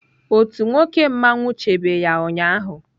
Otu nwoke mmanwụ chebe ya ụnyahụ.